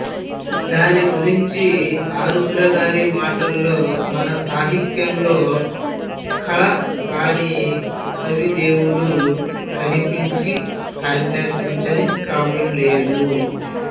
దాని గురించి ఆరుద్ర గారి మాటల్లో మన సాహిత్యంలో కల రాని కవి దేవుడు కనిపించి ఆజ్ఞాపించని కావ్యం లేదు